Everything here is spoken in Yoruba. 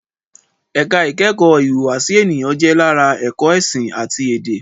ẹ̀ka ìkẹ́kọ̀ọ́ ìhùwàsí ènìyàn jẹ́ lára ẹ̀kọ́ ẹ̀sìn àti èdè